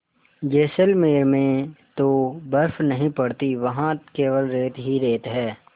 जैसलमेर में तो बर्फ़ नहीं पड़ती वहाँ केवल रेत ही रेत है